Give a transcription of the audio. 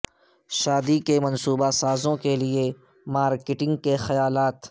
شادی کے منصوبہ سازوں کے لئے مارکیٹنگ کے خیالات